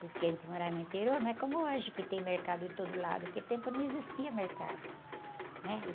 Porque a gente morava no interior, não é como hoje, que tem mercado em todo lado, naquele tempo não existia mercado, né?